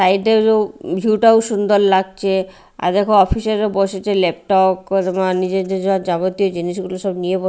side -এরও view -টাও সুন্দর লাগচে আর দেখো অফিসার -ও বসেচে লেপটক কদমা নিজেজ্যো যা যাবতীয় জিনিসগুলো সব নিয়ে ব--